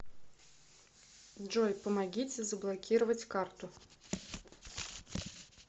джой помогите заблокировать карту